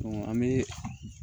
an bɛ